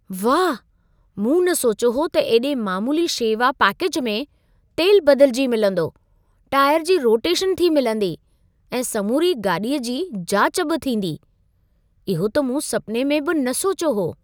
वाह! मूं न सोचियो हो त एॾे मामूली शेवा पैकेज में, तेल बदिलिजी मिलंदो, टायर जी रोटेशन थी मिलंदी ऐं समूरी गाॾीअ जी जाच बि थींदी। इहो त मूं सपिने में बि न सोचियो हो।